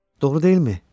Doğru deyilmi?